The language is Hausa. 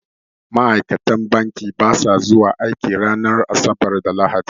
Ma'aikatan banki ba sa zuwa aiki ranar asabar da lahadi